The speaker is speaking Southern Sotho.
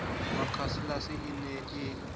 wa casalis e ne e